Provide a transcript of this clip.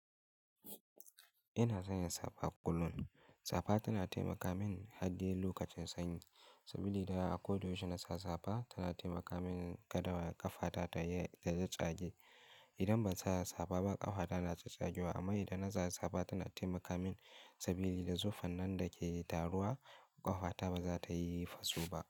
Ina sanya safa kullum. Safa tana taimaka min har dai lokacin sanyi. Sabili daya, a ko da yaushe na sa safa tana taimaka min kada ƙafata ta tatstsage. Idan ban sa safa ba ƙafata na ta tsagewa amma idan na sa safa tana taimaka min sabili da zufan nan dake taruwa, ƙafata ba za ta yi faso ba.